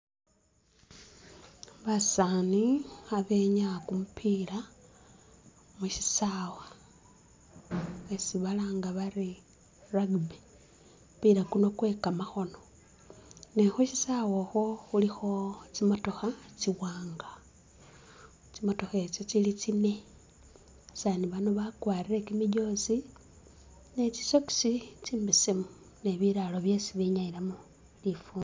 Basaani kha benyaya ku mupiila mu shisawa isi balanga bari rugby, ku mupiila kuno kuli kwe kamakhono ne khu shisawe ukhwo khulikho tsi motokha tsi wanga, tsi motokha itso tsili tsine, basani bano bakwarire kyi mijoozi ne tsi socks tsimbesemu nibiraro byesi binyalimo lifundo.